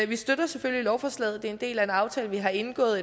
vi støtter selvfølgelig lovforslaget det er en del af en aftale vi har indgået